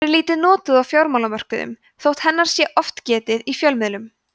hún er lítið notuð á fjármálamörkuðum þótt hennar sé oft getið í fjölmiðlum